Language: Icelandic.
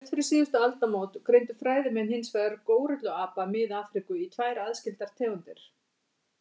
Laust fyrir síðustu aldamót greindu fræðimenn hinsvegar górilluapa Mið-Afríku í tvær aðskildar tegundir.